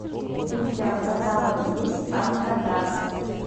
у тебя в каталоге есть алькатрас